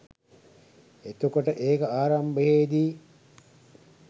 එතකොට ඒක ආරම්භයේදී